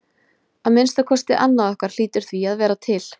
Að minnsta kosti annað okkar hlýtur því að vera til.